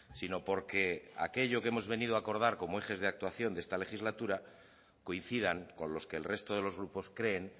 sino porque aquello que hemos venido a acordar como ejes de actuación de esta legislatura coincidan con los que el resto de los grupos creen